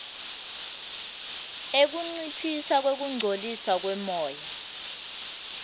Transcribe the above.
ekunciphisa kungcoliswa kwemoya